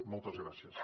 moltes gràcies